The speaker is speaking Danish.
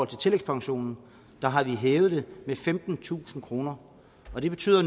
til tillægspensionen har hævet det med femtentusind kroner det betyder